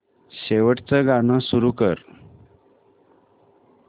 शेवटचं गाणं सुरू कर